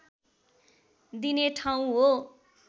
दिने ठाउँ हो